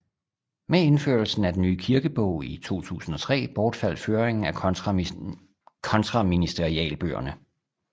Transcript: Med indførelsen af den nye kirkebog i 2003 bortfaldt føringen af kontraministerialbøgerne